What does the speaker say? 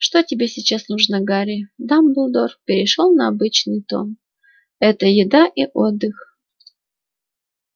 что тебе сейчас нужно гарри дамблдор перешёл на обычный тон это еда и отдых